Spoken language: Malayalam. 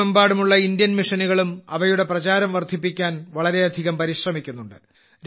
ലോകമെമ്പാടുമുള്ള ഇന്ത്യൻ മിഷനുകളും അവയുടെ പ്രചാരം വർധിപ്പിക്കാൻ വളരെയധികം പരിശ്രമിക്കുന്നുണ്ട്